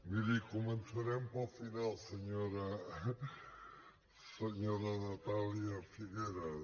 miri començarem pel final senyora natàlia figueras